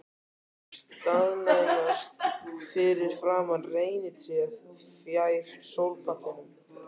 Þau staðnæmast fyrir framan reynitréð fjær sólpallinum.